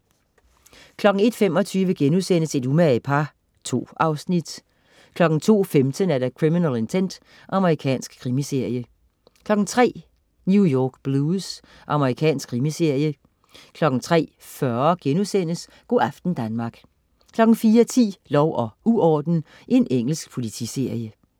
01.25 Et umage par* 2 afsnit 02.15 Criminal Intent. Amerikansk krimiserie 03.00 New York Blues. Amerikansk krimiserie 03.40 Go' aften Danmark* 04.10 Lov og uorden. Engelsk politiserie